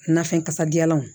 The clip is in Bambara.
Nafɛn kasadiyalanw